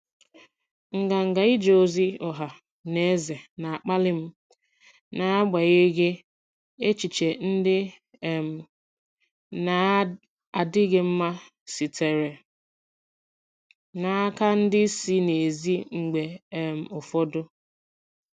Nganga ije ozi ọha na eze na-akpali m n'agbanyeghị echiche ndị um na-adịghị mma sitere n'aka ndị si n'èzí mgbe um ụfọdụ.